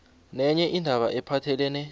nenye indaba ephathelene